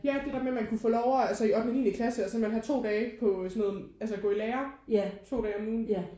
Ja det der med man kunne få lov altså i ottende og niende klasse og så kan man have to dage på sådan noget altså gå i lære to dage om ugen